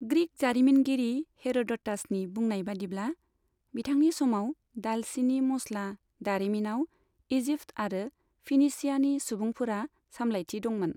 Greek जारिमिनगिरि हेर'ड'टासनि बुंनाय बायदिब्ला बिथांनि समाव दालसिनि मस्ला दारिमिनाव इजिप्ट आरो फिनिशियानि सुबुंफोरा सामलायथि दंमोन।